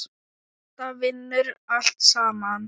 Þetta vinnur allt saman.